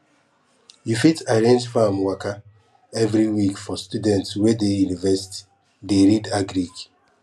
you fit arrange farm waka every week for students wey dey university dey read agric